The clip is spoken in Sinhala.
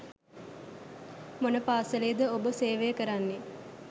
මොන පාසලේ ද ඔබ සේවය කරන්නේ?